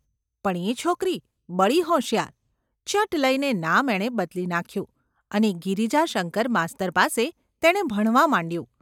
પણ એ છોકરી બડી હોશિયાર ! ચટ લઈને નામ એણે ​બદલી નાખ્યું અને ગિરિજાશંકર માસ્તર પાસે તેણે ભણવા માંડ્યું.